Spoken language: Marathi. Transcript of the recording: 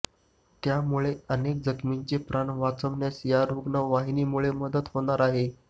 त्यामुळे अनेक जखमींचे प्राण वाचण्यास या रुग्णवाहिकेमुळे मदत होणार आहे